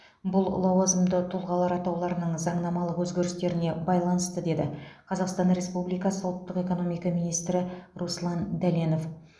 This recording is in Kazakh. бұл лауазымды тұлғалар атауларының заңнамалық өзгерістеріне байланысты деді қазақстан республикасы ұлттық экономика министрі руслан дәленов